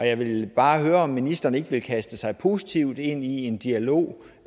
jeg vil bare høre om ministeren ikke vil kaste sig positivt ind i en dialog